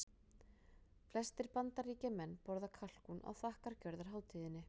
Flestir Bandaríkjamenn borða kalkún á þakkargjörðarhátíðinni.